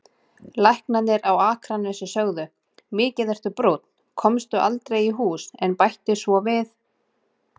Læknarnir á Akranesi sögðu: Mikið ertu brúnn, komstu aldrei í hús, en bættu svo við